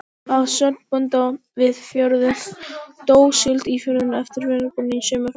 Að sögn bónda við fjörðinn, dó síld í firðinum eftir veðrabrigði eða eftir sunnanátt.